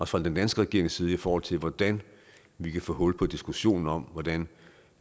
fra den danske regerings side i forhold til hvordan vi kan få hul på diskussionen om hvordan